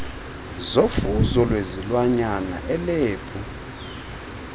zofuzo lwezilwanyana ilebhu